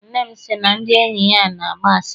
Nne m sị na ndị enyi ya na-agba asịrị.